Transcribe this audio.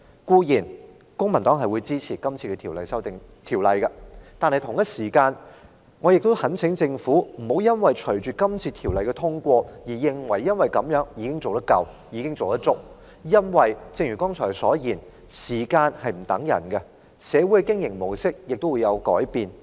公民黨固然支持《條例草案》，但我也懇請政府不要隨着《條例草案》獲得通過就安於現狀，因為正如我剛才所說，時間不會等人，旅遊業的經營模式也會因時而變。